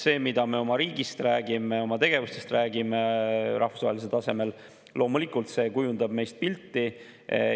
See, mida me oma riigist räägime, oma tegevustest räägime rahvusvahelisel tasemel, loomulikult kujundab meist pilti.